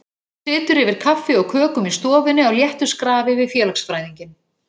Situr yfir kaffi og kökum í stofunni á léttu skrafi við félagsfræðinginn.